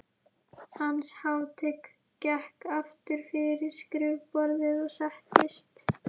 Hans hátign gekk aftur fyrir skrifborðið og settist.